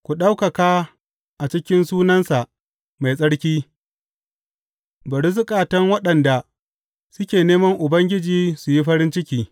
Ku ɗaukaka a cikin sunansa mai tsarki; bari zukatan waɗanda suke neman Ubangiji su yi farin ciki.